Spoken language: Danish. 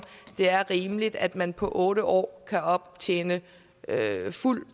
det er rimeligt at man på otte år kan optjene fuld